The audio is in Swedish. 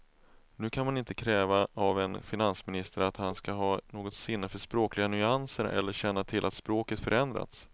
Nu kan man inte kräva av en finansminister att han ska ha något sinne för språkliga nyanser eller känna till att språket förändrats.